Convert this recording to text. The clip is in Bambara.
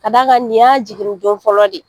Ka d'a kan nin y'a jigin nin ko fɔlɔ de ye.